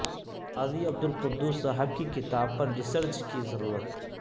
قاضی عبدالقدوس صاحب کی کتاب پر ریسرچ کی ضرورت